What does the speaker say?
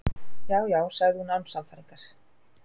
Já, já sagði hún án sannfæringar.